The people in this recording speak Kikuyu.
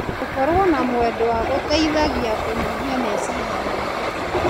Gũkorwo na mwendwa gũteithagia kũnyihia meciria maingĩ.